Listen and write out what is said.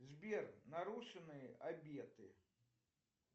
сбер нарушенные обеты